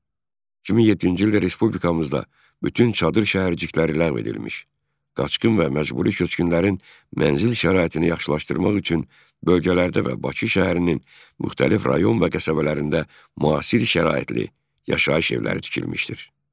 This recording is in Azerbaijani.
2007-ci ildə respublikamızda bütün çadır şəhərcikləri ləğv edilmiş, qaçqın və məcburi köçkünlərin mənzil şəraitini yaxşılaşdırmaq üçün bölgələrdə və Bakı şəhərinin müxtəlif rayon və qəsəbələrində müasir şəraitli yaşayış evləri tikilmişdir.